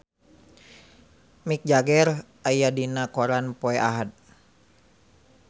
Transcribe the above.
Mick Jagger aya dina koran poe Ahad